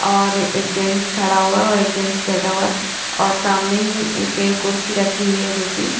और एक जेंट्स खड़ा हुआ है और एक जेंट्स बैठा हुआ है और सामने ही एक कुर्सी रखी हुई है जोकि--